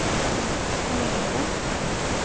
Lunde